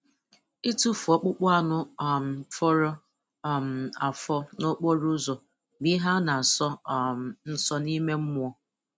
Itufu ọkpụkpụ anụ um fọrọ um afọ n'okporo ụzọ bụ ihe a na-asọ um nsọ n'ime mmụọ